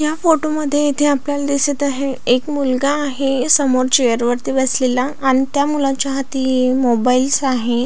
या फोटो मध्ये इथे आपल्याला दिसत आहे एक मुलगा आहे समोर चेअर वरती बसलेला आणि त्या मुलाच्या हाती मोबाईल्स आहे.